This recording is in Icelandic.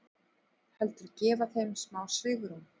Heldur gefa þeim smá svigrúm.